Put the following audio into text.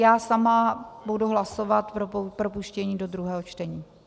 Já sama budu hlasovat pro propuštění do druhého čtení.